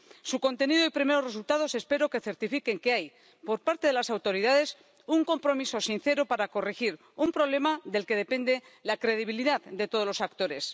Su contenido y primeros resultados espero que certifiquen que hay, por parte de las autoridades, un compromiso sincero para corregir un problema del que depende la credibilidad de todos los actores.